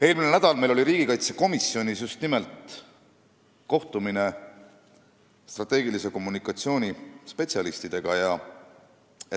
Eelmine nädal oli meil riigikaitsekomisjonis kohtumine just nimelt strateegilise kommunikatsiooni spetsialistidega.